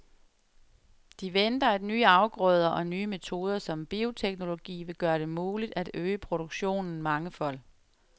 De venter, at nye afgrøder og nye metoder som bioteknologi vil gøre det muligt at øge produktionen mangefold.